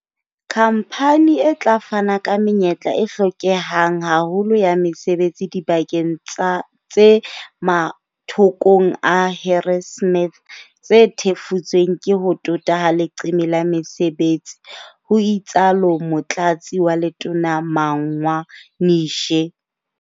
"Khamphane e tla fana ka menyetla e hlokehang haholo ya mesebetsi dibakeng tsa tse mathokong a Harrismith. Tse thefutsweng ke ho tota ha leqeme la mesebetsi, ho itsalo motlatsi wa letona Magwa Nishe.